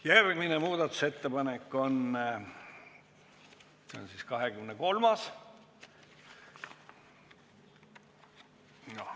Järgmine muudatusettepanek on 23.